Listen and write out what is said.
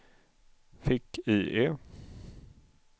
fick-IE